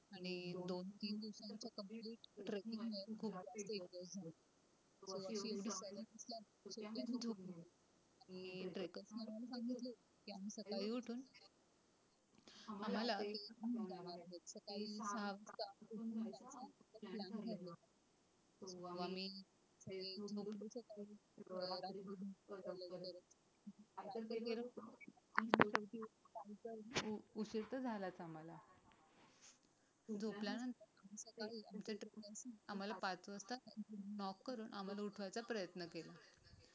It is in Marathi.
आम्हाला पाच वाजता लॉक करून आम्हाला उठवायचा प्रयत्न केला.